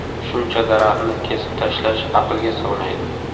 Shuncha daraxtni kesib tashlash aqlga sig‘maydi.